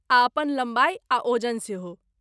आ अपन लम्बाई आ ओजन सेहो।